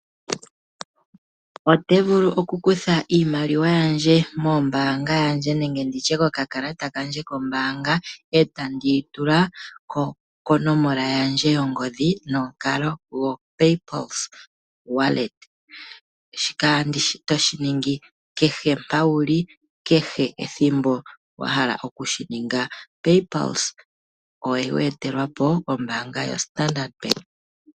Ote vulu okukutha iimaliwa yandje moombanga yandje nenge nditye kokakalata kandje kombanga etandi yitula konomola yandje yongodhi nomukalo go Pay Pulse Wallet shika oto shiningi kehe mpo wuli kehe ethimbo wahala okushininga Pay Pulse oweye telwapo kombanga yo Standard Bank.